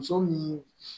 Muso min